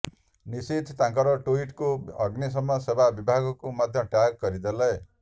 ନିଶିଥ୍ ତାଙ୍କର ଟୁଇଟ୍ଟିକୁ ଅଗ୍ନିଶମ ସେବା ବିଭାଗକୁ ମଧ୍ୟ ଟ୍ୟାଗ୍ କରିଦେଲେ